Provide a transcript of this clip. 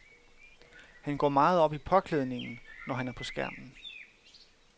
Han går meget op i påklædningen, når han er på skærmen.